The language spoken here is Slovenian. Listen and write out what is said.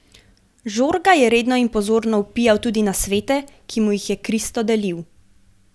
Žorga je redno in pozorno vpijal tudi nasvete, ki mu jih je Kristo delil.